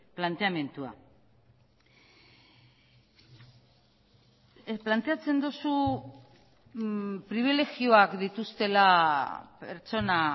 planteamendua planteatzen duzu pribilegioak dituztela pertsona